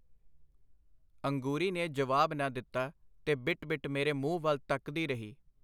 ਅੰਗੂਰੀ ਨੇ ਜਵਾਬ ਨਾ ਦਿੱਤਾ, ਤੇ ਬਿਟ ਬਿਟ ਮੇਰੇ ਮੂੰਹ ਵੱਲ ਤਕਦੀ ਰਹੀ.